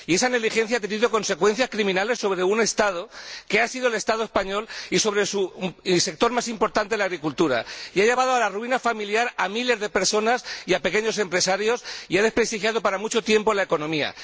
Y esa negligencia ha tenido consecuencias criminales sobre un Estado, que ha sido el Estado español, y sobre su sector más importante, la agricultura ha llevado a la ruina familiar a miles de personas y pequeños empresarios y ha desprestigiado para mucho tiempo la economía.